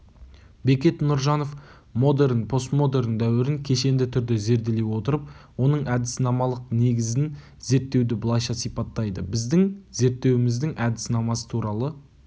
бекет нұржанов модерн постмодерн дәуірін кешенді түрде зерделей отырып оның әдіснамалық негізін зерттеуді былайша сипаттайды біздің зерттеуіміздің әдіснамасы туралы